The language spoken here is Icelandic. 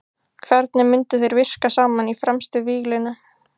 Hvernig myndu þeir virka saman í fremstu víglínu?